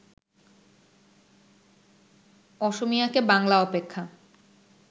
অসমীয়াকে বাংলা অপেক্ষা